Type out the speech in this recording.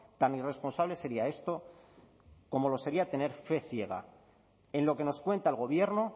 tan irresponsable sería esto como lo sería tener fe ciega en lo que nos cuenta el gobierno